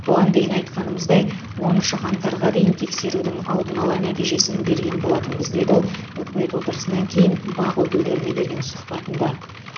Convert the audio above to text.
бұған дейін айтқанымыздай оныншы қаңтарға дейін тексерудің алдын ала нәтижесін берген боламыз деді ол үкімет отырысынан кейін бақ өкілдеріне берген сұхбатында